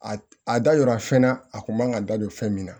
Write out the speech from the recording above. A a da yira fɛn na a kun man ka da don fɛn min na